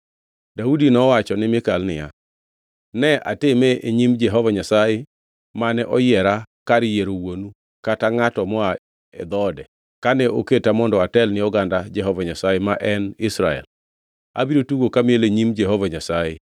Daudi nowacho ni Mikal niya, “Ne atime e nyim Jehova Nyasaye, mane oyiera kar yiero wuonu kata ngʼato moa e dhoode kane oketa mondo atel ni oganda Jehova Nyasaye ma en Israel, abiro tugo kamiel e nyim Jehova Nyasaye.